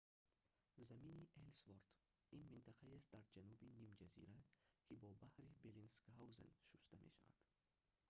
замини эллсворт ­ ин минтақаест дар ҷануби нимҷазира ки бо баҳри беллинсгаузен шуста мешавад